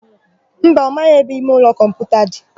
Mba, ọ maghị ebe imeụlọ kọmputa dị.